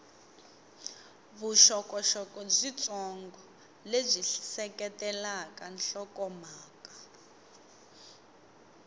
vuxokoxoko byitsongo lebyi seketelaka nhlokomhaka